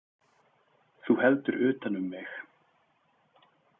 Þú heldur utan um mig.